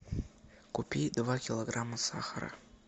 купи два килограмма сахара